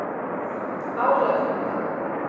Álagranda